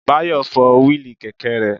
Báyọ̀ fọ́ wíìlì kẹ̀kẹ́ rẹ̀